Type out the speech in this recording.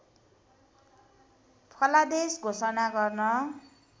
फलादेश घोषणा गर्न